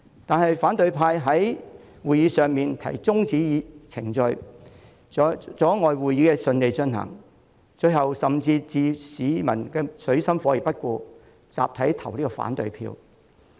然而，反對派在會議上提出中止程序，阻礙會議順利進行，最後甚至置市民於水深火熱而不顧，集體投下反對票。